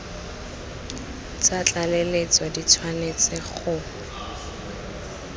tsa tlaleletso di tshwanetse go